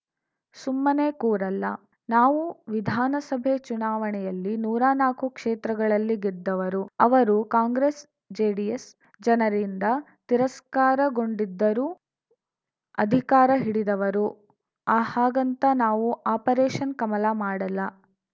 ಸುಮ್ಮನೆ ಕೂರಲ್ಲ ನಾವು ವಿಧಾನಸಭೆ ಚುನಾವಣೆಯಲ್ಲಿ ನೂರಾ ನಾಕು ಕ್ಷೇತ್ರಗಳಲ್ಲಿ ಗೆದ್ದವರು ಅವರು ಕಾಂಗ್ರೆಸ್‌ಜೆಡಿಎಸ್‌ ಜನರಿಂದ ತಿರಸ್ಕಾರಗೊಂಡಿದ್ದರೂ ಅಧಿಕಾರ ಹಿಡಿದವರು ಹಾಗಂತ ನಾವು ಆಪರೇಷನ್‌ ಕಮಲ ಮಾಡಲ್ಲ